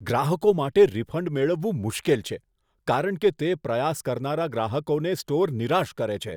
ગ્રાહકો માટે રિફંડ મેળવવું મુશ્કેલ છે કારણ કે તે પ્રયાસ કરનારા ગ્રાહકોને સ્ટોર નિરાશ કરે છે.